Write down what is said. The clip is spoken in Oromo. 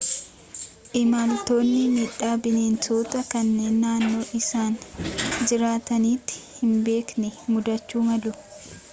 imaltoonni miidhaa bineensotaa kan naannoo isaan jiraatanitti hin beekne muudachuu malu